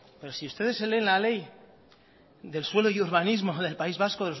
pero si ustedes se leen la ley del suelo y urbanismo del país vasco